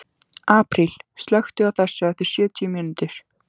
Apríl, slökktu á þessu eftir sjötíu mínútur.